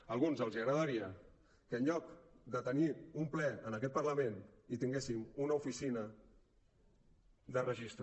a alguns els agradaria que en lloc de tenir un ple en aquest parlament hi tinguéssim una oficina de registre